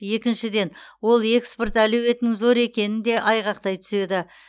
екіншіден ол экспорт әлеуетінің зор екенін де айғақтай түседі